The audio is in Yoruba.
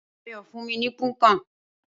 Ayọ̀ fún mi ní Punnkan